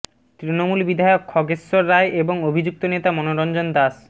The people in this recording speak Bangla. তৃণমূল বিধায়ক খগেশ্বর রায় এবং অভিযুক্ত নেতা মনোরঞ্জন দাস